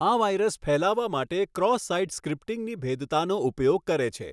આ વાઈરસ ફેલાવા માટે ક્રોસ સાઈટ સ્ક્રિપ્ટિંગની ભેદતાનો ઉપયોગ કરે છે.